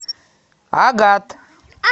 агат